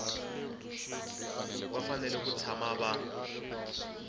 va fanele ku tshama va